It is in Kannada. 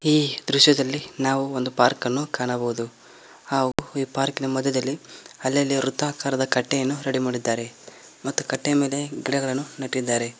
ಈ ದೃಶ್ಯದಲ್ಲಿ ನಾವು ಒಂದು ಪಾರ್ಕ್ ಅನ್ನು ಕಾಣಬಹುದು ಆ ಪಾರ್ಕ್ ನ ಮಧ್ಯದಲ್ಲಿ ಅಲ್ಲಲ್ಲಿ ವೃತ್ತಕಾರದದ ಕಟ್ಟೆಯನ್ನು ರೆಡಿ ಮಾಡಿದ್ದಾರೆ ಮತ್ತು ಕಟ್ಟೆ ಮೇಲೆ ಗಿಡಗಳನ್ನು ನೆಟ್ಟಿದ್ದಾರೆ.